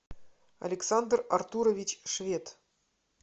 александр артурович швед